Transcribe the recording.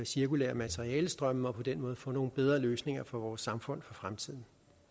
cirkulære materialestrømme og på den måde få nogle bedre løsninger for vores samfund for fremtiden